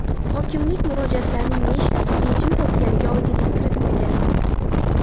Hokimlik murojaatlarning nechtasi yechim topganiga oydinlik kiritmagan.